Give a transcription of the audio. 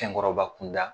Cɛkɔrɔba kunda